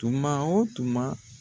Tuma o tuma